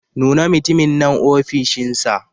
Nuna mutumin nan ofishinsa.